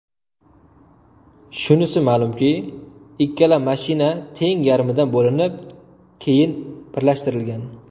Shunisi ma’lumki, ikkala mashina teng yarmidan bo‘linib, keyin birlashtirilgan.